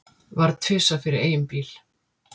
Varð tvisvar fyrir eigin bíl